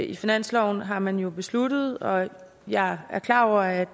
i finansloven har man jo besluttet og jeg er klar over at